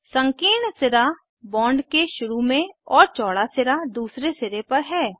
संकीर्ण सिरा बॉन्ड के शुरू में और चौड़ा सिरा दूसरे सिरे पर है